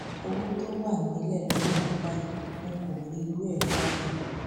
owó tó wà nílẹ lọwọ mi báyìí n kò rí irú ẹ rí láyé mi